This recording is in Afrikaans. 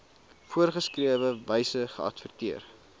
voorgeskrewe wyse geadverteer